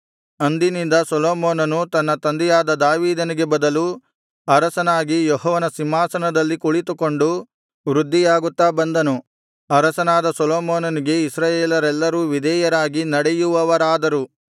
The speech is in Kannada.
ಅಂದಿನಿಂದ ಸೊಲೊಮೋನನು ತನ್ನ ತಂದೆಯಾದ ದಾವೀದನಿಗೆ ಬದಲು ಅರಸನಾಗಿ ಯೆಹೋವನ ಸಿಂಹಾಸನದಲ್ಲಿ ಕುಳಿತುಕೊಂಡು ವೃದ್ಧಿಯಾಗುತ್ತಾ ಬಂದನು ಅರಸನಾದ ಸೊಲೊಮೋನನಿಗೆ ಇಸ್ರಾಯೇಲರೆಲ್ಲರೂ ವಿಧೇಯರಾಗಿ ನಡೆಯುವವರಾದರು